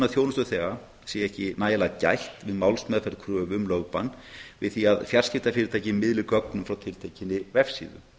þjónustuþega sé ekki nægilega gætt við málsmeðferð kröfu um lögbann við því að fjarskiptafyrirtæki miðli gögnum frá tiltekinni vefsíðu